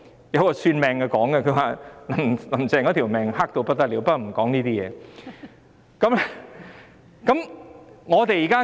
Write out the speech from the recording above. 有個算命的人說"林鄭"的命格差得不得了，不過我不說這些事。